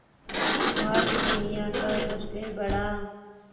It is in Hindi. भारत दुनिया का सबसे बड़ा